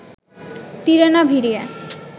তীরে না ভিড়িয়ে